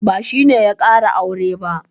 Ba shi ne ya ƙara aure ba.